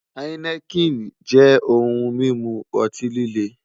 Heineken jẹ ohun mimu ọti-lile